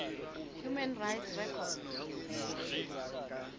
human rights record